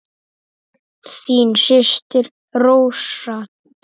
Þín systir Rósa Dóra.